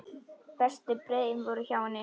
Bestu brauðin voru hjá henni.